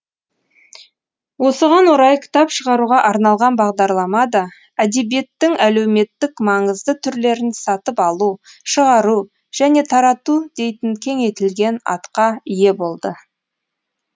осыған орай кітап шығаруға арналған бағдарлама да әдебиеттің әлеуметтік маңызды түрлерін сатып алу шығару және тарату дейтін кеңейтілген атқа ие болды